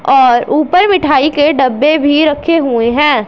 और ऊपर मिठाई के डब्बे भी रखे हुए हैं।